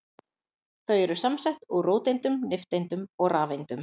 Þau eru samsett úr róteindum, nifteindum og rafeindum.